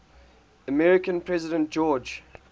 american president george